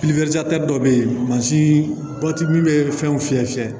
dɔ bɛ yen mansin min bɛ fɛnw fiyɛ fiyɛ